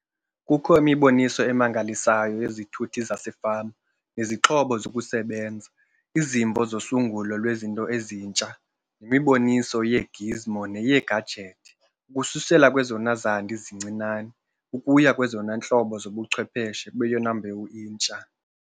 Kukho imiboniso emangalisayo yezithuthi zasefama nezixhobo zokusebenza, izimvo zosungulo lwezinto ezintsha nemiboniso 'yee-gizmo neyeegajethi' ukususela kwezona zandi zincinane ukuya kwezona ntlobo zobuchwepheshe beyona mbewu intsha.